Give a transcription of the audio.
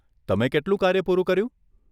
તમે કેટલું કાર્ય પૂરું કર્યું?